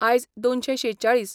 आयज दोनशे शेचाळीस